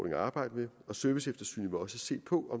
at arbejde med og serviceeftersynet vil også se på